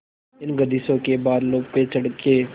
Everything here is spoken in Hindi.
इन गर्दिशों के बादलों पे चढ़ के